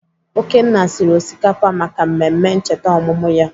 Okenna siri osikapa maka mmemme ncheta ọmụmụ ya.